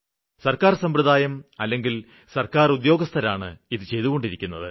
സര്ക്കാര് സമ്പ്രദായം അല്ലെങ്കില് സര്ക്കാര് ഉദ്യോഗസ്ഥരാണ് ഇത് ചെയ്തുകൊണ്ടിരിക്കുന്നത്